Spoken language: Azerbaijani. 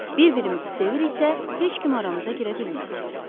Bir-birimizi seviriksə, heç kim aramıza girə bilməz.